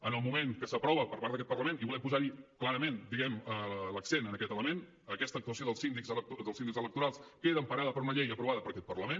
en el moment que s’aprova per part d’aquest parlament i volem posar clarament diguem ne l’accent en aquest element aquesta actuació dels síndics electorals queda emparada per una llei aprovada per aquest parlament